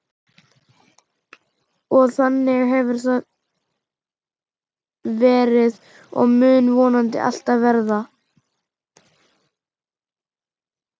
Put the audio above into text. Og þannig hefur það verið og mun vonandi alltaf verða.